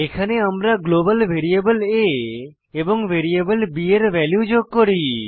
এখানে আমরা global variable a এবং ভ্যারিয়েবল b এর ভ্যালু যোগ করি